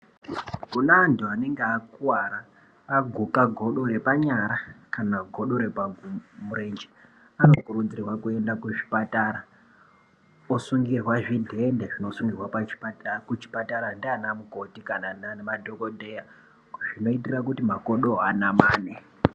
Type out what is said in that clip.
Kuna antu anenge akuara aguka godo repanyara kana godo repamurenje, anokurudzirwa kuenda kuzvipatara, osungirwa zvidhende zvinosungirwa pachipatara kuchipatara ndianamukoti kana namadhokodheya zvinoitira kuti makodowo anamane.